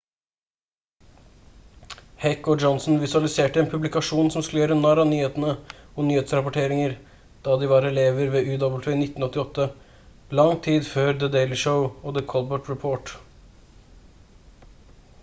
heck og johnson visualiserte en publikasjon som skulle gjøre narr av nyhetene og nyhetsrapporteringer da de var elever ved uw i 1988 lang tid før the daily show og the colbert report